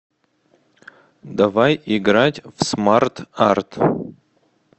давай играть в смарт арт